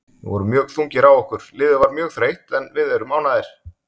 Við vorum mjög þungir á okkur, liðið var mjög þreytt, en við erum ánægðir.